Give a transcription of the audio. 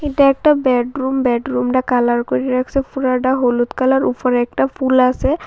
এটা একটা বেডরুম বেডরুমডা কালার কইরা রাখসে পুরাডা হলুদ কালার উপরে একটা ফুল আসে ।